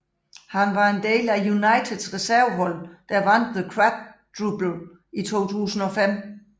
Han var en del af Uniteds reservehold der vandt the quadruble i 2005